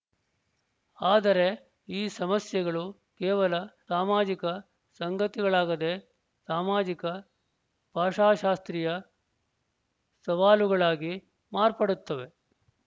ಆದರೆ ಈ ಸಮಸ್ಯೆಗಳು ಕೇವಲ ಸಾಮಾಜಿಕ ಸಂಗತಿಗಳಾಗದೇ ಸಾಮಾಜಿಕ ಭಾಷಾಶಾಸ್ತ್ರೀಯ ಸವಾಲುಗಳಾಗಿ ಮಾರ್ಪಡುತ್ತವೆ